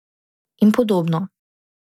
In podobno.